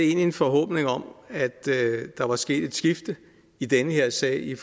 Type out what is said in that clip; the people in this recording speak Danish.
en forhåbning om at der var sket et skifte i den her sag